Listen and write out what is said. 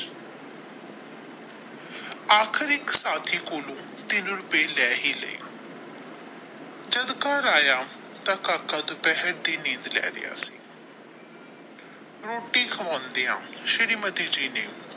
ਆਖਿਰੀ ਸਾਥੀ ਕੋਲੋ ਤਿਨ ਰੁਪਏ ਲੈ ਹੀ ਲਾਏ ਜਦ ਘਰ ਆਇਆ ਤੇ ਕਾਕਾ ਦੁਪਹਿਰ ਦੀ ਨੀਂਦ ਲੈ ਰਿਹਾ ਸੀ ਰੋਟੀ ਖਵਾਉਣ ਦੀਆ ਸ਼੍ਰੀਮਤੀ ਜੀ ਨੇ।